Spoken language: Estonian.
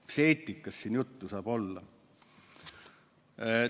Mis eetikast siin juttu saab olla?